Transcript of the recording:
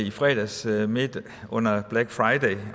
i fredags midt under black friday